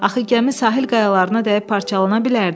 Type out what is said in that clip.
Axı gəmi sahil qayalarına dəyib parçalana bilərdi.